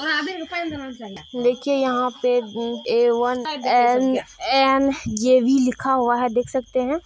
देखिए यहाँ पर A one N N J B लिखा हुआ है देख सकते है।